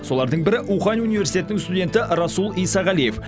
солардың бірі ухань университетінің студенті расул исағалиев